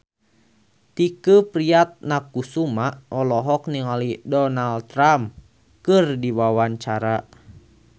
Tike Priatnakusuma olohok ningali Donald Trump keur diwawancara